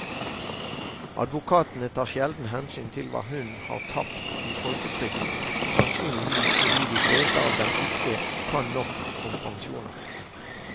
Advokatene tar sjelden hensyn til hva hun har tapt i folketrygden, sannsynligvis fordi de fleste av dem ikke kan nok om pensjoner.